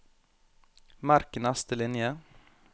Merk neste linje